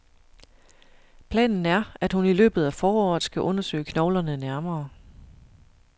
Planen er, at hun i løbet af foråret skal undersøge knoglerne nærmere.